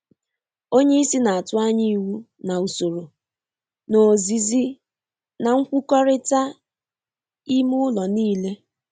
Onye isi na-atụ anya iwu na usoro n’ozizi na nkwukorita ime ụlọ niile